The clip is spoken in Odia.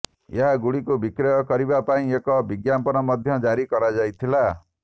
ଏହାଗୁଡିକୁ ବିକ୍ରୟ କରିବା ପାଇଁ ଏକ ବିଜ୍ଞାପନ ମଧ୍ୟ ଜାରି କରାଯାଇଥିଲା